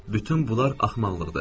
Bütün bunlar axmaqlıqdır.